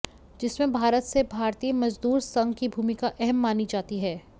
जिसमें भारत से भारतीय मजदूर संघ की भुमिका अहम मानी जाती है